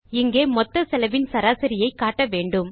இங்கே மொத்த செலவின் சராசரியை காட்ட வேண்டும்